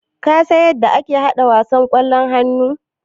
Kasan yadda ake yin wasan ƙwallon hannu?